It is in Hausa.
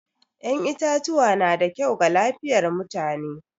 Yan itatuwa na da kyau ga lafiyar mutane.